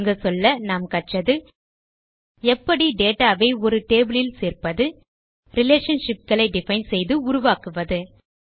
சுருங்கச்சொல்ல நாம் கற்றது எப்படி டேட்டா வை ஒரு டேபிள் இல் சேர்ப்பது ரிலேஷன்ஷிப் களை டிஃபைன் செய்து உருவாக்குவது